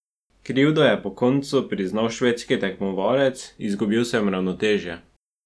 Krivdo je po koncu priznal švedski tekmovalec: "Izgubil sem ravnotežje.